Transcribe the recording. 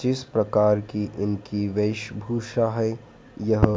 जिस प्रकार की इनकी वेश भूषा है यह--